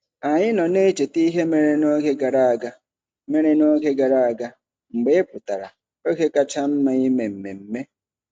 Anyị nọ na-echeta ihe mere n'oge gara mere n'oge gara aga mgbe ị pụtara - oge kacha mma ime mmemme.